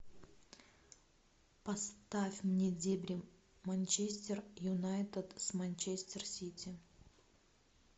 поставь мне дебри манчестер юнайтед с манчестер сити